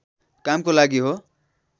कामको लागि हो